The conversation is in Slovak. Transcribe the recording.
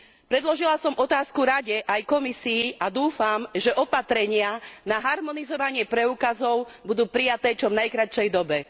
Predložila som otázku Rade aj Komisii a dúfam, že opatrenia na harmonizovanie preukazov budú prijaté v čo najkratšej dobe.